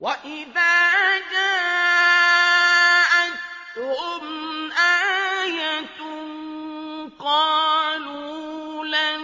وَإِذَا جَاءَتْهُمْ آيَةٌ قَالُوا لَن